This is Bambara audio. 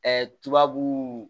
tubabu